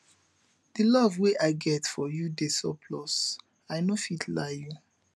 di love wey i get for you dey surplus i no fit lie you